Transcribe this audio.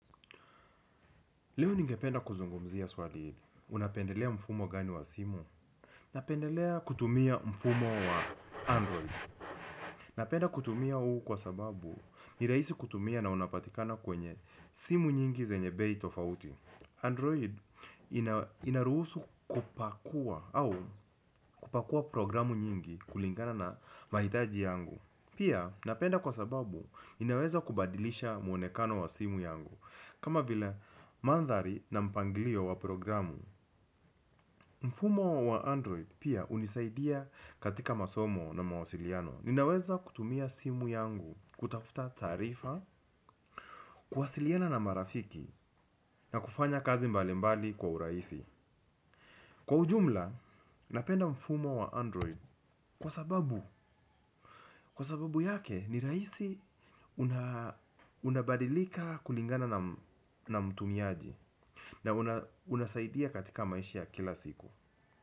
Leo ningependa kuzungumzia swali hili. Unapendelea mfumo gani wa simu? Napendelea kutumia mfumo wa Android. Napenda kutumia huu kwa sababu ni rahisi kutumia na unapatikana kwenye simu nyingi zenye bei tofauti. Android inaruhusu kupakua au kupakua programu nyingi kulingana na mahitaji yangu. Pia napenda kwa sababu inaweza kubadilisha mwonekano wa simu yangu. Kama vile mandhari na mpangilio wa programu. Mfumo wa Android pia hunisaidia katika masomo na mawasiliano. Ninaweza kutumia simu yangu kutafuta taarifa. Kuwasiliana na marafiki na kufanya kazi mbalimbali kwa urahisi. Kwa ujumla, napenda mfumo wa Android kwa sababu kwa sababu yake ni rahisi unabadilika kulingana na mtumiaji. Na unasaidia katika maisha kila siku.